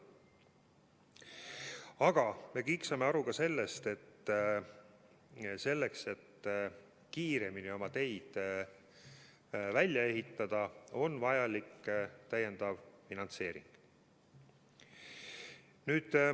Aga me kõik saame aru ka sellest, et selleks, et kiiremini oma teid välja ehitada, on vajalik täiendav finantseering.